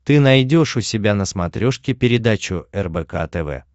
ты найдешь у себя на смотрешке передачу рбк тв